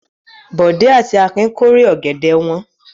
Bọ̀dé àti Akin kórè ọ̀gẹ̀dẹ̀ wọn.